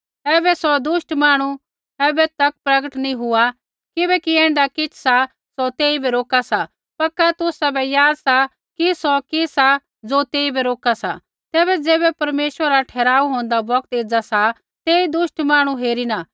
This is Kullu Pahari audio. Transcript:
ऐबै सौ दुष्ट मांहणु ऐबै तक प्रगट नैंई हुआ किबैकि ऐण्ढा किछ़ सा सौ तेइबै रोका सा पक्का तुसाबै याद सा कि सौ कि सा ज़ो तेइबै रोका सा तैबै ज़ैबै परमेश्वरा रा ठहराऊ होंदा बौगत एज़ा सा तेई दुष्ट मांहणु हेरिणा